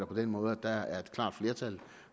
på den måde at der er et klart flertal